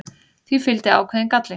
því fylgdi ákveðinn galli